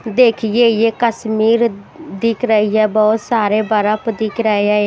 देखिए ये कश्मीर दिख रही है बहुत सारे बर्फ दिख रहे है।